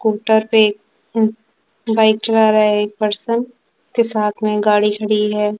Scooter पे bike चला रहा एक पर्सन के साथ में गाड़ी खड़ी है।